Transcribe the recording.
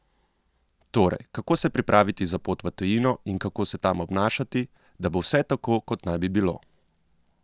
Torej, kako se pripraviti za pot v tujino in kako se tam obnašati, da bo vse tako, kot naj bi bilo?